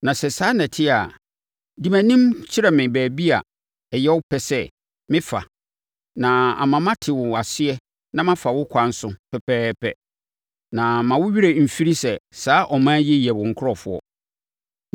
Na sɛ saa na ɛte a, di mʼanim kyerɛ me baabi a ɛyɛ wo pɛ sɛ mefa na ama mate wo aseɛ na mafa wo kwan so pɛpɛɛpɛ. Na mma wo werɛ mfiri sɛ saa ɔman yi yɛ wo nkurɔfoɔ.”